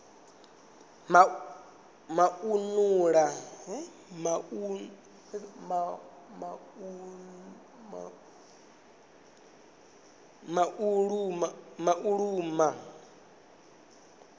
mauluma